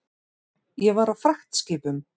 Ég var á fragtskipum.